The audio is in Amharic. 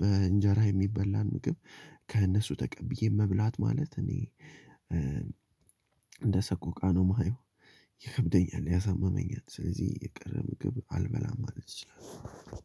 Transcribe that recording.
በእንጀራ የሚበላ እንትን ከእነሱ ተቀብዬ መብላት ማለት እኔ እንደሰቆቃ ነው የማየው። ይከብደኛል ያሳምመኛል ስለዚህ የቀረ ምግብ አልበላም ማለት እችላለው።